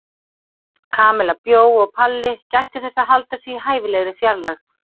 Kamilla bjó og Palli gætti þess að halda sig í hæfilegri fjarlægð.